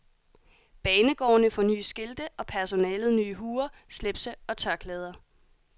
Banegårdene får nye skilte og personalet nye huer, slipse og tørklæder.